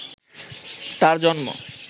তার জন্ম